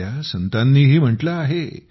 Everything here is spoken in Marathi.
आपल्या संतांनीही म्हटले आहे